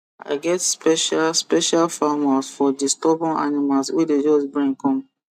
i get special special farm house for di stubborn animals wey dey just bring come